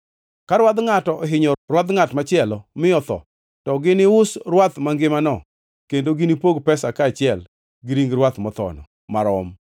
“Ka rwadh ngʼato ohinyo rwadh ngʼat machielo mi otho, to ginius rwath mangimano kendo ginipog pesa kaachiel gi ring rwath mothono marom.